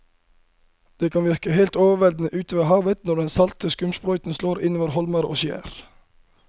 Det kan virke helt overveldende ute ved havet når den salte skumsprøyten slår innover holmer og skjær.